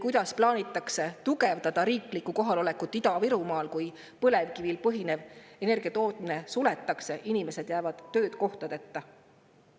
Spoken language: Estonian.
Kuidas plaanitakse tugevdada riiklikku kohalolekut Ida-Virumaal, kui põlevkivil põhinev energiatootmine suletakse ja inimesed jäävad töökohtadeta?